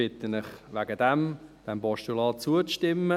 Deshalb bitten wir Sie, diesem Postulat zuzustimmen;